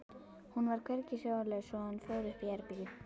Hún var hvergi sjáanleg svo hann fór upp í herbergi.